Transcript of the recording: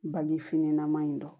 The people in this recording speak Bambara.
Baji finna ma in dɔn